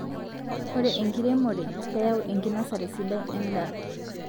Ore inkiremore kayau enkinosare sidai edaa